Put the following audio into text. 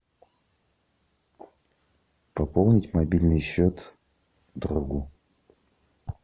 пополнить мобильный счет другу